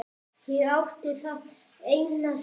Ég átti það eina sem